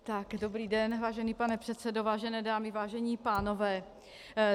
Dobrý den, vážený pane předsedo, vážené dámy, vážení pánové.